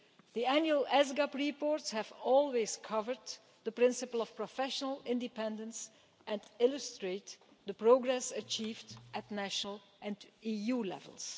The annual ESGAB reports have always covered the principle of professional independence and illustrated the progress achieved at national and EU levels.